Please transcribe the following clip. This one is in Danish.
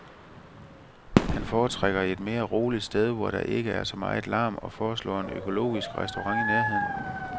Han foretrækker et mere roligt sted, hvor der ikke er så meget larm og foreslår en økologisk restaurant i nærheden.